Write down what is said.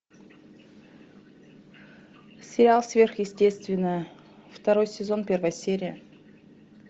сериал сверхъестественное второй сезон первая серия